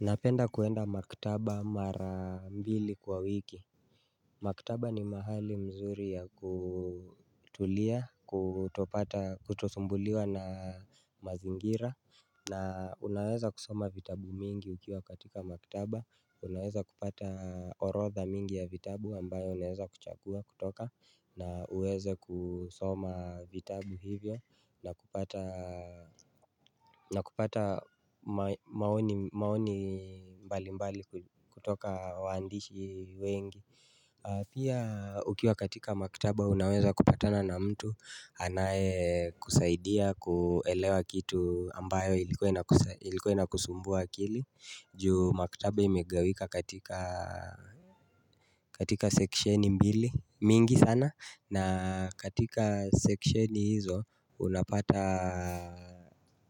Napenda kuenda makitaba mara mbili kwa wiki. Maktaba ni mahali mzuri ya kutulia, kutopata, kutosumbuliwa na mazingira. Na unaweza kusoma vitabu mingi ukiwa katika maktaba. Unaweza kupata orodha mingi ya vitabu ambayo unaweza kuchagua kutoka. Na uweze kusoma vitabu hivyo na kupata na kupata maoni mbali mbali kutoka waandishi wengi. Pia ukiwa katika makitaba unaweza kupatana na mtu. Anaye kusaidia kuelewa kitu ambayo ilikuwa ina kusumbua akili. Juu maktaba imegawika katika katika section mbili mingi sana. Na katika sectioni hizo unapata